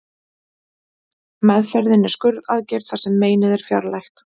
Meðferðin er skurðaðgerð þar sem meinið er fjarlægt.